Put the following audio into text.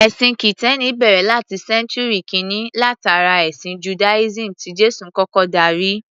Ẹ̀sìn Kìtẹ́ẹ́nì bẹ̀rẹ̀ láti Sẹ́ńtúrì kíni látara ẹ̀sìn Judaism tí Jésù kọ́kọ́ darí.